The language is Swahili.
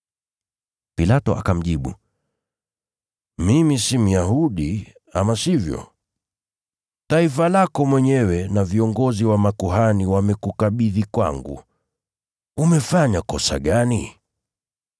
Pilato akamjibu, “Mimi si Myahudi, ama sivyo? Taifa lako mwenyewe na viongozi wa makuhani wamekukabidhi kwangu. Umefanya kosa gani?”